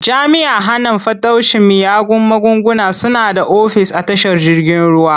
Jami'an hana fataucin miyagun magunguna suna da ofis a tashar jirgin ruwa.